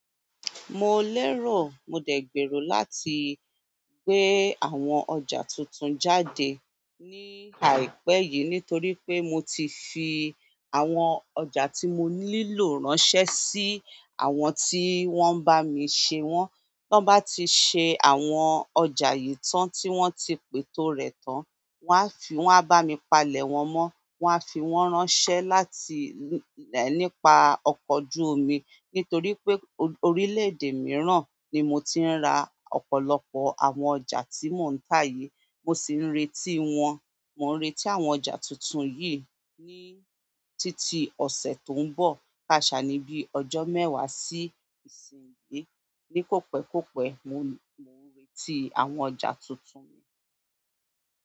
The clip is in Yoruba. Mo lérò, mo dẹ̀ gbèrò láti gbé àwọn ọjà tuntun jáde ní àìpẹ́ yìí nítorí pé mo ti fi àwọn ọjà tí mo nílò ránṣẹ́ sí àwọn tí wọ́n ń bá mi ṣe wọ́n. Tọ́n bá ti ṣe àwọn ọjà yìí tán tí wọ́n ti pètó rẹ̀ tán, wọ́n á fi wọ́n á bá mi palẹ̀ wọ́n mọ́, wọ́n á fi wọ́n ránṣẹ́ láti, nípa ọkọ̀ ojú omi. Nítorí pé orílẹ̀-èdè mìíràn ni mo ti ń ra ọ̀pọ̀lọpọ̀ àwọn ọjà tí mò ń tà yìí, mo sì ń retí wọn. Mò ń retí àwọn ọjà tuntun yìí ní títí ọ̀sẹ̀ tó ń bọ̀, káàṣà níbi ọjọ́ mẹ́wàá sí ìsínyìí. Ní kòpẹ́kọpẹ́, mo, mo ń retí àwọn ọjà tuntun mi.